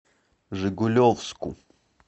жигулевску